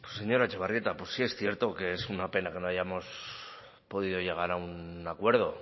señora etxebarrieta pues sí es cierto que es una pena que no hayamos podido llegar a un acuerdo